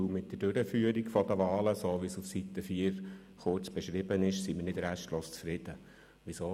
Dies, weil wir mit der Durchführung der Wahlen, so wie auf Seite 4 kurz beschrieben, nicht restlos zufrieden sind.